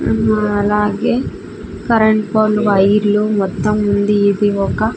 ఉం అలాగే కరెంట్ పోల్లు వైర్లు మొత్తం ఉంది ఇది ఒక--